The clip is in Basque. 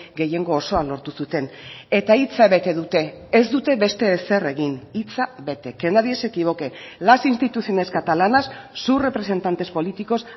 gehiengo osoa lortu zuten eta hitza bete dute ez dute beste ezer egin hitza bete que nadie se equivoque las instituciones catalanas sus representantes políticos